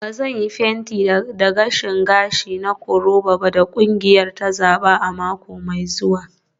Ba zan yi plaiting da gashin gashi na koroba da kungiyar ta zaba a mako mai zuwa.